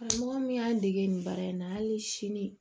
Karamɔgɔ min y'an dege nin baara in na hali sini